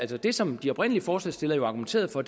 det som de oprindelige forslagsstillere jo argumenterede for